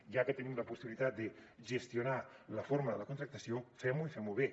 ja que tenim la possibilitat de gestionar la forma de la contractació fem ho i fem ho bé